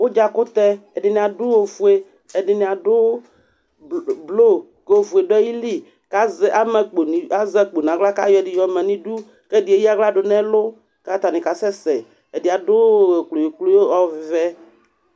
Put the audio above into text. Ʋdzakʋtɛ, ɛdɩnɩ adʋ ofue, ɛdɩnɩ adʋ blo kʋ ofue dʋ ayili kʋ azɛ ama akpo nʋ i azɛ akpo nʋ aɣla kʋ ayɔ ɛdɩ yɔma nʋ idu kʋ ɛdɩ yɛ eyǝ aɣla dʋ nʋ ɛlʋ kʋ atanɩ kasɛsɛ Ɛdɩ yɛ adʋ kployo-kployo ɔvɛ